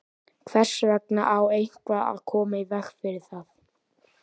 Hvers vegna á eitthvað að koma í veg fyrir það?